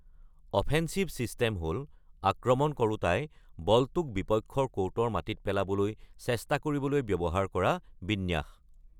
Offensive system হ’ল আক্ৰমণ কৰোঁতাই বলটোক বিপক্ষৰ ক’ৰ্টৰ মাটিত পেলাবলৈ চেষ্টা কৰিবলৈ ব্যৱহাৰ কৰা বিন্যাস।